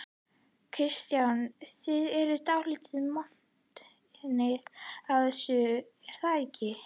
Kristján: Þið eruð dálítið montnir af þessu er það ekki?